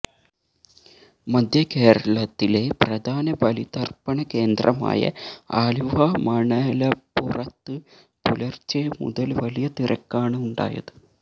മധ്യകേരളത്തിലെ പ്രധാന ബലിതര്പ്പണ കേന്ദ്രമായ ആലുവ മണല്പുറത്ത് പുലര്ച്ചെ മുതല് വലിയ തിരക്കാണുണ്ടായത്